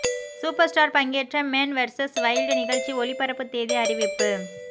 super star பங்கேற்ற Man versus Wild நிகழ்ச்சி ஒளிபரப்பு தேதி அறிவிப்பு